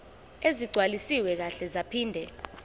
ezigcwaliswe kahle zaphinde